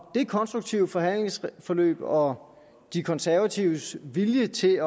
konstruktive forhandlingsforløb og de konservatives vilje til at